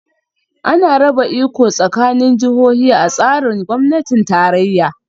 Ana raba iko tsakanin jihohi a tsarin gwamnatin tarayya